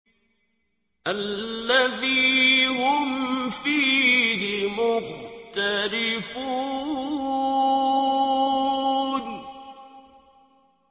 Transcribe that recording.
الَّذِي هُمْ فِيهِ مُخْتَلِفُونَ